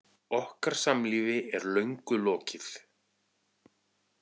Okkar samlífi er löngu lokið.